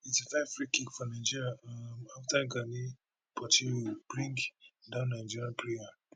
eighty five freekick for nigeria um afta gani portilho bring down nigeria player